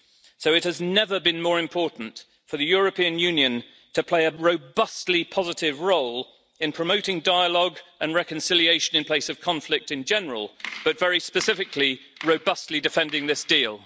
So it has never been more important for the European Union to play a robustly positive role in promoting dialogue and reconciliation in place of conflict in general and, very specifically, robustly defending this deal.